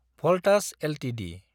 Voltas Ltd